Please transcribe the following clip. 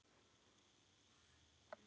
Fallegt barn.